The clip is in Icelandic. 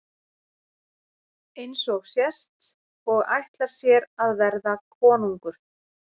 Eins og sést og ætlar sér að verða konungur.